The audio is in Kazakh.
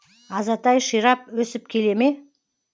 азатай ширап өсіп келе ме